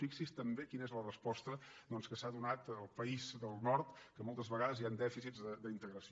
fixi’s també quina és la resposta que s’ha donat al país del nord que moltes vegades hi han dèficits d’integració